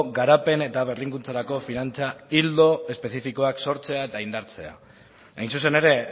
garapen eta berrikuntzarako finantza ildo espezifikoak sortzea eta indartzea hain zuzen ere